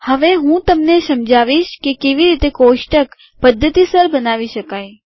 હવે હું તમને સમજાવીશ કે કેવી રીતે કોષ્ટક પધ્ધતિસર બનાવી શકાય